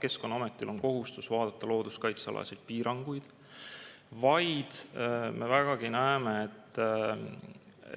Keskkonnaametil on kohustus vaadata looduskaitselisi piiranguid, aga me vägagi näeme,